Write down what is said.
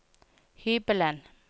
hybelen